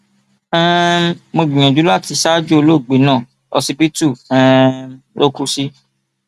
um mo gbìyànjú láti ṣaájò ológbe náà ọsibítù um ló kù sí